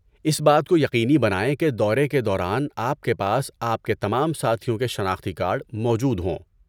اس بات کو یقینی بنائیں کہ دورے کے دوران آپ کے پاس آپ کے تمام ساتھیوں کے شناختی کارڈ موجود ہوں۔